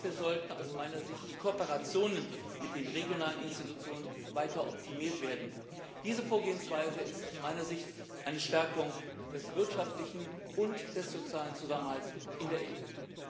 Dafür sollten aus meiner Sicht die Kooperationen mit den regionalen Institutionen weiter optimiert werden. Diese Vorgehensweise ist aus meiner Sicht eine Stärkung des wirtschaftlichen und des sozialen Zusammenhalts in der EU.